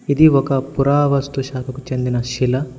ఇది ఒక పురావస్తు శాఖకు చెందిన శిల.